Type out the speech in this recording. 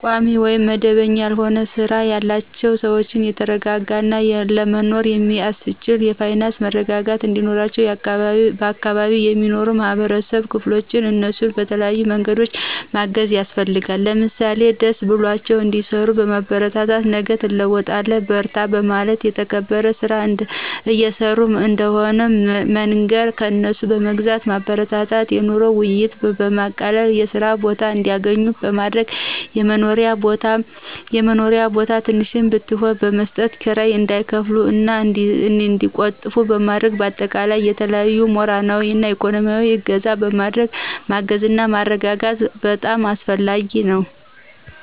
ቋሚ ውይም መደበኛ ያልሆነ ስራ ያላቸውን ሰዎች የተረጋጋ እና ለመኖር የሚአስችል የፋይናንስ መረጋጋት እንዲኖራቸው በአካባቢው የሚኖሩ የማህበረሰብ ክፍሎች እነሱን በተለያዬ መንገድ ማገዝ ያስፈልጋል። ለምሳሌ ደስ ብሏቸው እንዲሰሩ በማበረታታት ነገ ትለወጣላቹ በርቱ በማለት የተከበረ ስራ እየሰሩ እንደሆነ በመንገር፣ ከእነሱ በመግዛት ማበረታታት፣ የኑሮ ውይይትን በማቃለል የስራ ቦታ እንዲአገኙ በማድረግ፣ የመኖሪያ ቦታ ትንሽም ብትሆን በመስጠት ክራይ እንዳይከፍሉ እና እንዲቆጥቡ በማድረግ በአጠቃላይ በተለያዪ ሞራላዊ እና እኮኖሚአዊ እገዛ በማድረግ ማገዝና ማረጋጋት በጣም አስፈላጊ ነው።